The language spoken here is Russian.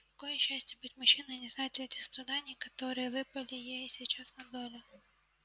кое счастье быть мужчиной не знать эти страданий которые выпали ей сейчас на долю